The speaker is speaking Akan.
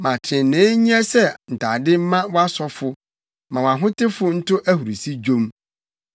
Ma trenee nyɛ sɛ ntade mma wʼasɔfo; ma wʼahotefo nto ahurusi nnwom.’ ”